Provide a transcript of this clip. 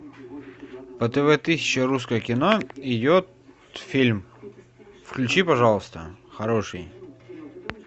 по тв тысяча русское кино идет фильм включи пожалуйста хороший